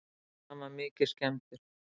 Hann var mikið skemmdur.